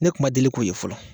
Ne kun ma deli ko ye fɔlɔ